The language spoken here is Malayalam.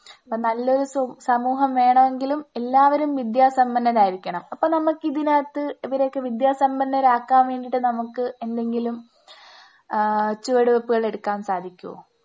അപ്പോൾ നല്ലൊരു സ സമൂഹം വേണമെങ്കിലും എല്ലാവരും വിദ്യാസമ്പന്നരായിരിക്കണം. അപ്പോ നമുക്കിതിനാത്ത് ഇവരെയൊക്കെ വിദ്യാസമ്പന്നരാക്കാൻ വേണ്ടിയിട്ട് നമുക്ക് എന്തെങ്കിലും ആഹ് ചുവടുവെപ്പുകൾ എടുക്കാൻ സാധിക്കുമോ?